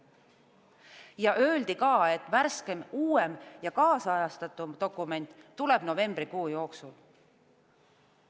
Ja öeldi ka, et värskem, uuem ja kaasajastatum dokument tuleb novembrikuu jooksul.